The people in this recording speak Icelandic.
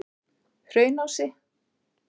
Hraunási